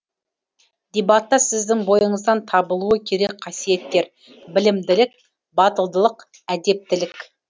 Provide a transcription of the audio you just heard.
дебатта сіздің бойыңыздан табылуы керек қасиеттер білімділік батылдылық әдептілік